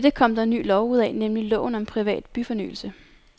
Dette kom der en ny lov ud af, nemlig loven om privat byfornyelse.